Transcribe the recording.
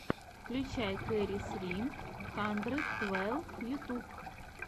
включай кэрри сри хандрэд твэлв ютьюб